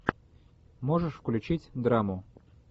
можешь включить драму